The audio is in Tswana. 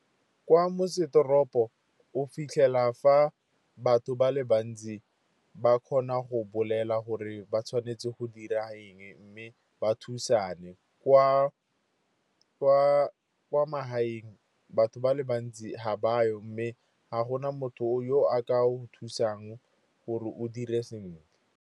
Kwa motsesetoropo o fitlhela fa batho ba le bantsi ba kgona go bolela gore ba tshwanetse go dira eng, mme ba thusane. Kwa magaeng, batho ba le bantsi ga ba yo, mme ga go na motho yo a ka go thusang gore o dire sentle.